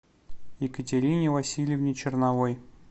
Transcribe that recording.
екатерине васильевне черновой